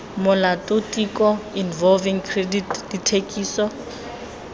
molato tiko revolving credit dithekiso